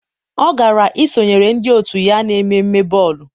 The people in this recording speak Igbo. ọ gara isonyere ndị otu ya n'ememme bọọlụ.